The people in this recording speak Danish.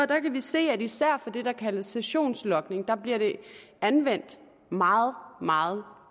der kan vi se at især for det der kaldes sessionslogning bliver de anvendt meget meget